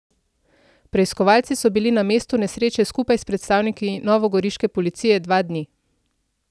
Preiskovalci so bili na mestu nesreče skupaj s predstavniki novogoriške policije dva dni.